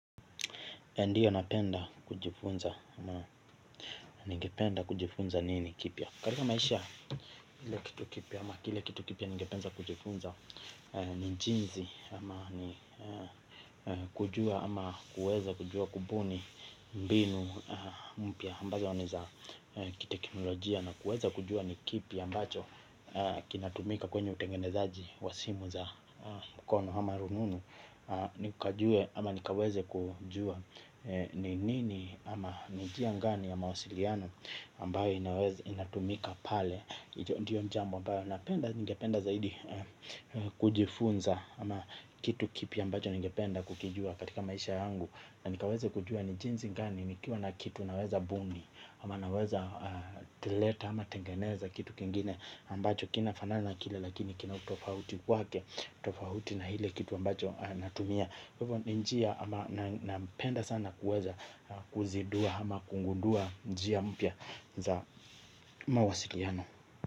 Ndio napenda kujifunza ama nige penda kujifunza nini kipia karika maisha kile kitu kipia ama kile kitu kipia nige penda kujifunza nijinzi ama kujua ama kujua kujua kubuni mbinu mpia ambazo niza kitekinolajia na kueza kujua nikipia ambacho kinatumika kwenye utengenezaji wasimu za mkono ama rununu nikaweze kujua. Ni nini ama nijia ngani ya mausiliano ambayo inatumika pale. Ndiyo njambo ambayo ningependa zaidi kujifunza. Ama kitu kipi ambacho ningependa kukijua katika maisha yangu. Na nikaweze kujua nijinzi ngani. Nikiwa na kitu naweza buni ama naweza teleta ama tengeneza kitu kingine ambacho kina fanana kile lakini kina tofahuti wake. Tofahuti na hile kitu ambacho natumia. Hivyo ni njia ama nampenda sana kuweza kuzidua ama kungundua njia mpya za mawasiliano.